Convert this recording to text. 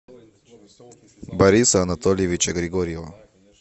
бориса анатольевича григорьева